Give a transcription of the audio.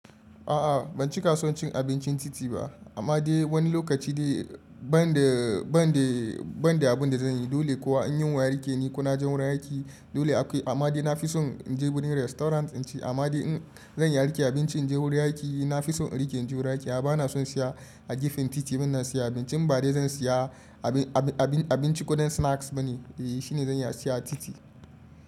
A'a ban cika son cin abincin titi ba, amma dai wani lokaci dai banda, banda, banda abun da zan yi dole kuwa in yunwa ya rike ni ko naje wurin aiki dole akwai amma dai na fi son in je wurin restaurant in ci amma dai in zan yi rike abinci in je wurin aiki na fi son in rike in je wurin aiki. A'a bana son siya a gefen titi muna siya abincin ba dai zan siya abinci kuɗin snacks bane eh shine zan iya siya a titi.